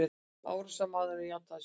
Árásarmaðurinn játaði sök